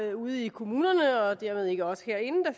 er ude i kommunerne og dermed ikke os herinde at